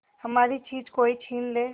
हमारी चीज कोई छीन ले